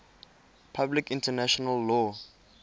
public international law